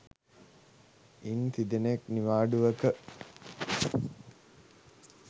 ඉන් තිදෙනෙක් නිවාඩුවක